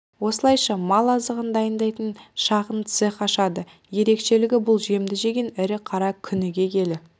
осылайша мал азығын дайындайтын шағын цех ашады ерекшелігі бұл жемді жеген ірі қара күніге келі